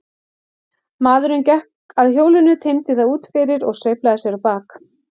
Maðurinn gekk að hjólinu, teymdi það út fyrir og sveiflaði sér á bak.